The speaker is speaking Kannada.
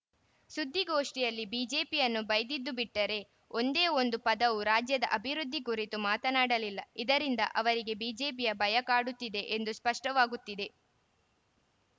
ಸುದ್ದಿಗೋಷ್ಠಿಯಲ್ಲಿ ಬಿಜೆಪಿಯನ್ನು ಬೈದಿದ್ದು ಬಿಟ್ಟರೆ ಒಂದೇ ಒಂದು ಪದವು ರಾಜ್ಯದ ಅಭಿವೃದ್ಧಿ ಕುರಿತು ಮಾತನಾಡಲಿಲ್ಲ ಇದರಿಂದ ಅವರಿಗೆ ಬಿಜೆಪಿಯ ಭಯ ಕಾಡುತ್ತಿದೆ ಎಂಬುದು ಸ್ಪಷ್ಟವಾಗುತ್ತಿದೆ